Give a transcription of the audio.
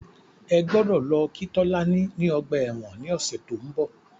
Ẹ gbọ́dọ̀ lọ kí Tolani ní ọgbà ẹ̀wọ̀n ní ọ̀sẹ̀ tí ó ń bọ̀.